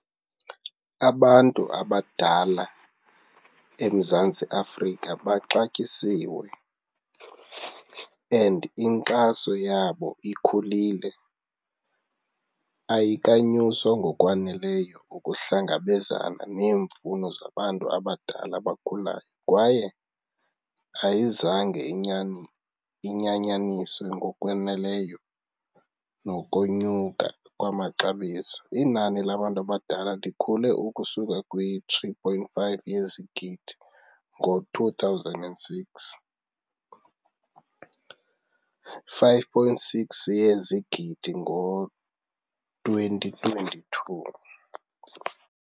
Abantu abadala eMzantsi Afrika baxatyisiwe and inkxaso yabo ikhulile ayikanyuswa ngokwaneleyo ukuhlangabezana neemfuno zabantu abadala abakhulayo, kwaye ayizange inyani, inyanyaniswe ngokweneleyo nokonyuka kwamaxabiso. Inani labantu abadala likhule ukusuka kwi-three point five yezigidi ngo-two thousand and six, five point six yezigidi ngo-twenty twenty-two.